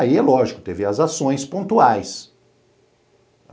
Aí, é lógico, teve as ações pontuais.